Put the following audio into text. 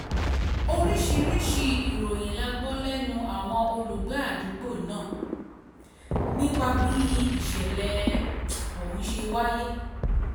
oríṣiríṣiì ìròyìn la gbọ́ lẹ́nu àwọn olùgbé àdúgbò náà nípa bí ìṣẹ̀lẹ̀ ọ̀hún ṣe wáyé